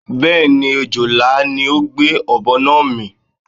Bé̩è̩nì, ojòlá ni ó gbé ò̩bo̩ náà mì.